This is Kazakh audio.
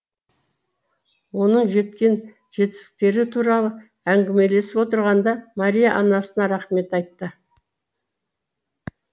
оның жеткен жетістіктері туралы әңгімелесіп отырғанда мария анасына рахмет айтты